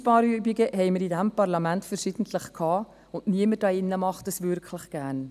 Einsparübungen hatten wir in diesem Parlament verschiedentlich, und niemand hier drin macht dies wirklich gerne.